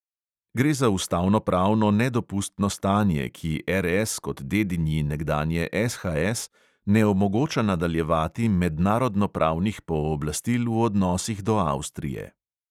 Gre za ustavnopravno nedopustno stanje, ki RS kot dedinji nekdanje SHS ne omogoča nadaljevati mednarodnopravnih pooblastil v odnosih do avstrije.